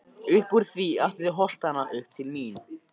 Uppúr því aftur til holtanna, upp til mín.